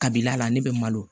Kabila la ne bɛ malo